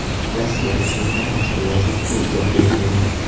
Rossiya rasmiylari mazkur vaziyatga izoh bermagan.